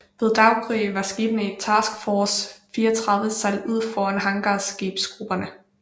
Ved daggry var skibene i Task Force 34 sejlet ud foran hangarskibsgrupperne